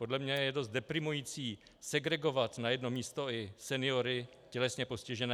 Podle mě je dost deprimující segregovat na jedno místo i seniory, tělesně postižené.